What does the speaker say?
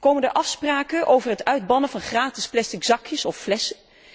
Komen er afspraken over het uitbannen van gratis plastic zakjes of flessen?